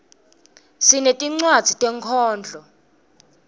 sinetincwadzi tenkhondlo